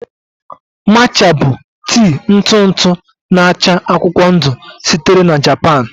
Matcha bụ tii ntụ ntụ n'acha akwụkwọ ndụ sitere na Japan